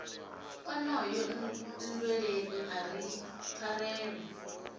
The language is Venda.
onoyo nndweleni a ri pfarelo